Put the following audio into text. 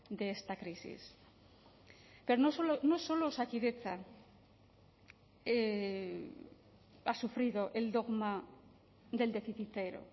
de esta crisis pero no solo osakidetza ha sufrido el dogma del déficit cero